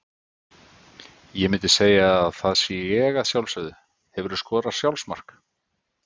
Ég myndi segja að það sé ég að sjálfsögðu Hefurðu skorað sjálfsmark?